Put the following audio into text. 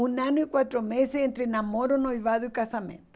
Um ano e quatro meses entre namoro, noivado e casamento.